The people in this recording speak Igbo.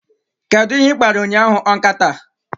Kedu ihe ị kpara ụnyahụ, nkata?